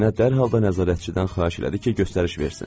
Nənə dərhal da nəzarətçidən xahiş elədi ki, göstəriş versin.